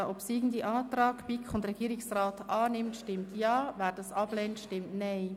Wer den obsiegenden Antrag BiK und Regierungsrat annimmt, stimmt Ja, wer diesen ablehnt, stimmt Nein.